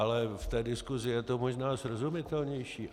Ale v té diskusi je to možná srozumitelnější.